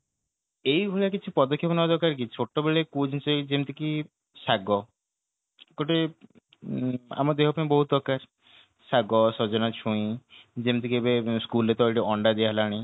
ଏଇ ଭଳିଆ କିଛି ପଦକ୍ଷେପ ନେବା ଦରକାର କି ଛୋଟବେଳେ ଯେମିତି କି ଶାଗ ଗୋଟେ ଉଁ ଆମଦେହ ପାଇଁ ବହୁତ ଦରକାର ଶାଗ ସଜନା ଛୁଇଁ ଯେମିକି କି ଏବେ school ରେ ତ ଅଣ୍ଡା ଦିଆ ହେଲାଣି